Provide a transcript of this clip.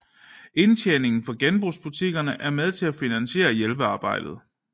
Indtjeningen fra genbrugsbutikkerne er med til at finansiere hjælpearbejdet